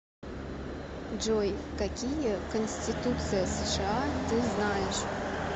джой какие конституция сша ты знаешь